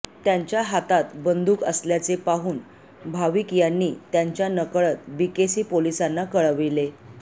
त्यांच्या हातात बंदूक असल्याचे पाहून भाविक यांनी त्यांच्या नकळत बीकेसी पोलिसांना कळविले